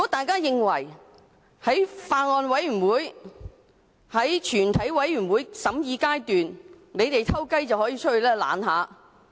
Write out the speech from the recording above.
他們或會認為在全體委員會審議階段，可以偷偷到會議廳外躲懶。